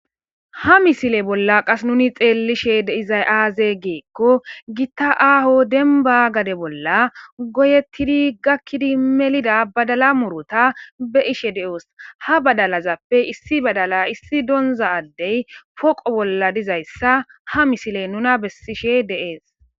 Ha misile bolla qas nuni xeellishe izay-aaze geekko gitta aaho denba gade bolla goyettidi gakkidi melida badala murota be ishe de7oos ha badalazappe issi badala issi doonza addey poqo bolla dizayssa ha misile nuna bessishe deees.